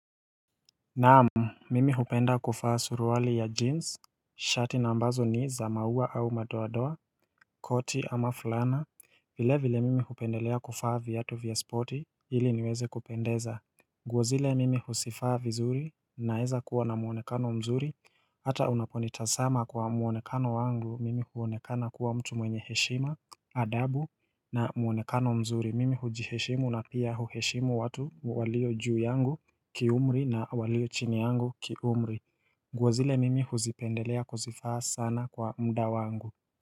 Naam, mimi hupenda kufaa suruali ya jeans, shati na ambazo ni za maua au madoadoa, koti ama fulana, vile vile mimi hupendelea kufaa viatu vya spoti ili niweze kupendeza. Nguo zile mimi husifaa vizuri naeza kuwa na muonekano mzuri, hata unaponitasama kwa muonekano wangu mimi huonekana kuwa mtu mwenye heshima adabu na muonekano mzuri mimi hujiheshimu na pia huheshimu watu walio juu yangu kiumri na walio chini yangu kiumri nguo zile mimi huzipendelea kuzifaa sana kwa muda wangu.